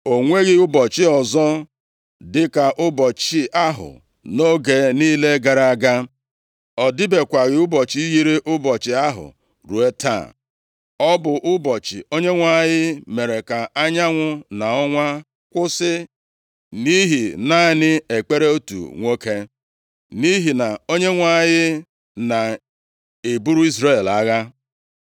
O nweghị ụbọchị ọzọ dịka ụbọchị ahụ nʼoge niile gara aga. Ọ dịbekwaghị ụbọchị yiri ụbọchị ahụ ruo taa. Ọ bụ ụbọchị Onyenwe anyị mere ka anyanwụ na ọnwa kwụsị, nʼihi naanị ekpere otu nwoke. Nʼihi na Onyenwe anyị na-eburu Izrel agha.